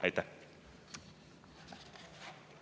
Aitäh!